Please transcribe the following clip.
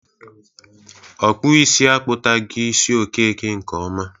Ọkpụisi akpụtagi isi Okeke nke ọma.